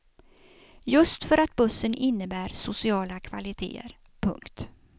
Just för att bussen innebär sociala kvaliteter. punkt